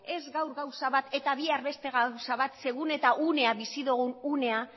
ez gaur gauza bat eta bihar beste gauza bat segun eta unea bizi dugun unea